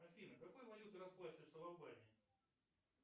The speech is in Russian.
афина какой валютой расплачиваются в албании